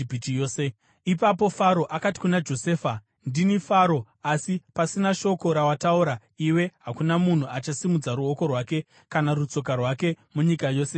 Ipapo Faro akati kuna Josefa, “Ndini Faro, asi pasina shoko rawataura iwe hakuna munhu achasimudza ruoko rwake kana rutsoka rwake munyika yose yeIjipiti.”